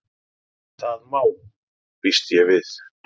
Það má.- býst ég við.